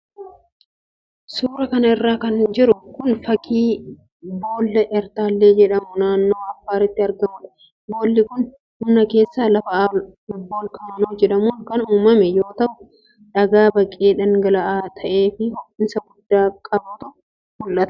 Suura kana irra kan jiru kun, fakkii boolla Eertaallee jedhamu naanoo Afaaritti argamuudha. Boolli kun humna keessa lafaa voolkaanoo jedhamuun kan uumame yoo ta'u, dhagaa baqee dhangala'aa ta'ee fi ho'iinsa guddaa qbutu mul'ata.